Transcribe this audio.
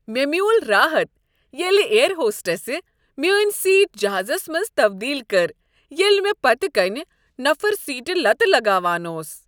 مےٚ میول راحت ییٚلہ ایر ہوسٹسہ میٲنۍ سیٹ جہازس منز تبدیل کٔر ییٚلہ مےٚ پتہٕ کنۍ نفر سیٹہ لتہٕ لگاوان اوس۔